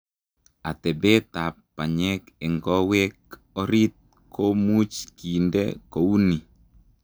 Atepeet ap panyeek eng kowek orit komuuch kindee kounii